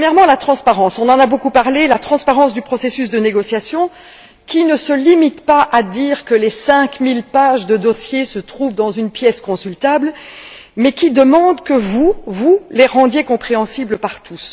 Premièrement, la transparence on en a beaucoup parlé du processus de négociation, qui ne se limite pas à dire que les cinq mille pages de dossier se trouvent dans une pièce consultable mais qui demande que vous, vous, les rendiez compréhensibles par tous.